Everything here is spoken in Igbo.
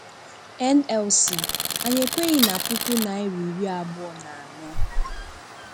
NLC: Anyị ekweghị na puku naira iri abụọ na anọ